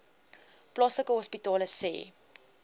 plaaslike hospitale sê